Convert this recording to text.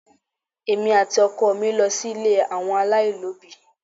Èmi àti ọkọ mi lọ sí ilé àwọn alailobi.